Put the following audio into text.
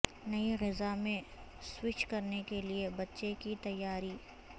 نئی غذا میں سوئچ کرنے کے لئے بچے کی تیاری